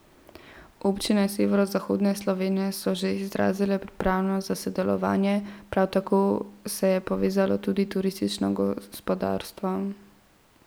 Občine severovzhodne Slovenije so že izrazile pripravljenost za sodelovanje, prav tako se je povezalo tudi turistično gospodarstvo.